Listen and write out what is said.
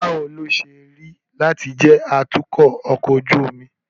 Báwo ló ṣe rí lati je atukọ̀ ọkọ ojú omi?